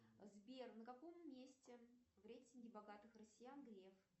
сбер на каком месте в рейтинге богатых россиян греф